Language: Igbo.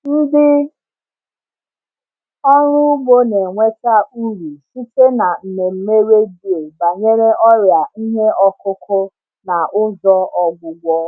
Ndị ọrụ ugbo na-enweta uru site na mmemme redio banyere ọrịa ihe ọkụkụ na ụzọ ọgwụgwọ.